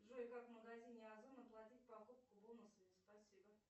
джой как в магазине озон оплатить покупку бонусами спасибо